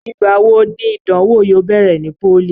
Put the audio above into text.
Igbà wo ni Ìdánwó yóò bẹ̀rẹ̀ ní pólì?